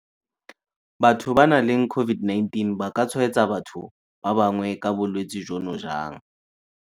Batho ba ba nang le COVID-19 ba ka tshwaetsa batho ba bangwe ka bolwetse jono jang?